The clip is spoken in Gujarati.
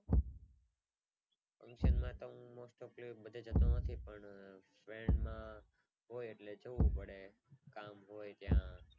function માં તો most topali બધે જતો નથી પણ friend માં હોય એટલે જવું પડે કામ હોય ત્યાં